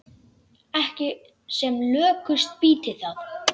Ekki sem lökust býti það.